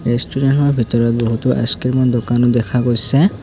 Restaurant খনৰ ভিতৰত বহুতো আইছ ক্ৰীম ৰ দোকানো দেখা গৈছে।